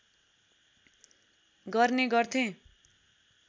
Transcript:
गर्ने गर्थे